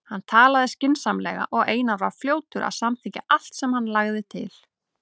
Hann talaði skynsamlega og Einar var fljótur að samþykkja allt sem hann lagði til.